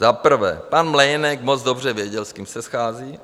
Za prvé, pan Mlejnek moc dobře věděl, s kým se schází.